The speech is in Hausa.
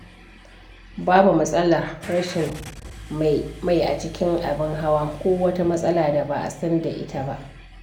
Babu matsalar rashin mai a cikin abin hawa ko wata matsala da ba a san da ita ba.